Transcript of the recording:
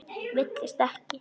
Villist ekki!